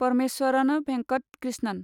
Parameswaran Venkat Krishnan